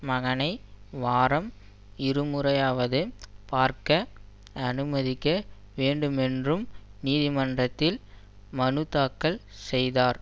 மகனை வாரம் இருமுறையாவது பார்க்க அனுமதிக்க வேண்டுமென்றும் நீதிமன்றத்தில் மனுதாக்கல் செய்தார்